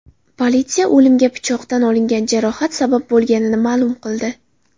Politsiya o‘limga pichoqdan olingan jarohat sabab bo‘lganini ma’lum qildi.